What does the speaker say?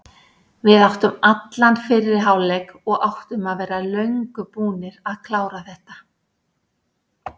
Við áttum allan fyrri hálfleik og áttum að vera löngu búnir að klára þetta.